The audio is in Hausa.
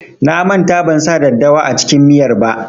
Na manta ban sa daddawa a cikin miyar ba.